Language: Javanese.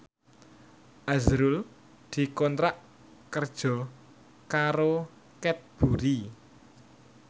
azrul dikontrak kerja karo Cadbury